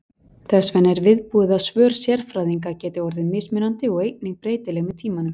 Þess vegna er viðbúið að svör sérfræðinga geti orðið mismunandi og einnig breytileg með tímanum.